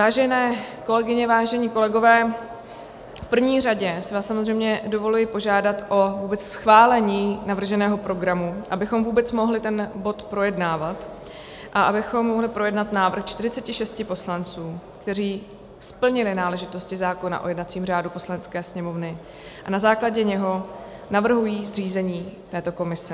Vážené kolegyně, vážení kolegové, v první řadě si vás samozřejmě dovoluji požádat vůbec o schválení navrženého programu, abychom vůbec mohli ten bod projednávat a abychom mohli projednat návrh 46 poslanců, kteří splnili náležitosti zákona o jednacím řádu Poslanecké sněmovny a na základě něho navrhují zřízení této komise.